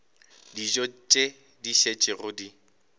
dijo tše di šetšego di